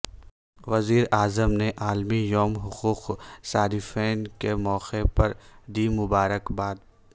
وزیر اعظم نے عالمی یوم حقوق صارفین کے موقع پر دی مبارکباد